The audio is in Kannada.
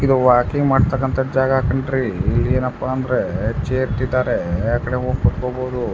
ಇದು ವಾಕಿಂಗ್ ಮಾಡತ್ತಕಂತ ಜಾಗ ಕಣ್ಣರಿ ಇಲ್ಲಿ ಏನಪ್ಪಾ ಅಂದ್ರೆ ಚೇರ್ ಇಟ್ಟಿದಾರೆ ಆಕಡೆ ಹೋಗಿ ಕುತಕೋಬಹುದು.